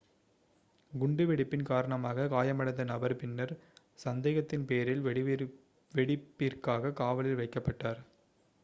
குண்டு வெடிப்பின் காரணமாக காயமடைந்த நபர் பின்னர் சந்தேகத்தின் பேரில் வெடிப்பிற்காக காவலில் வைக்கப்பட்டார்